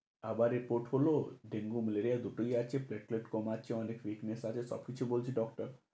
আবার এ পোট হলো, dengue, malaria দুটোই আছে কম আছে অনেক, fitness আছে, সবকিছু বলছে doctor ।